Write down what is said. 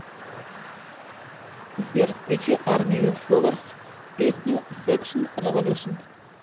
сбер включи армию фловерс песню секшн революшн